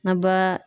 Na ba